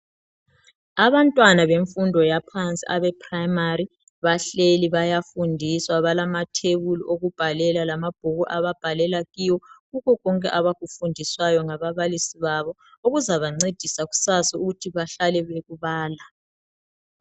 Abantwana bemfundo yaphansi, abeprimary, bahlezi. Kulamatafula ababhalela phezu kwawo, kanye lamabhuku ababhalela kuwo. Lokhu kuzabasiza ukubala, belandelela, lokho abakufundisiweyo.